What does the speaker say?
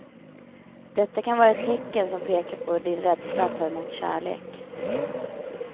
Detta kan vara ett tecken som pekar på din rädsla att ta emot kärlek.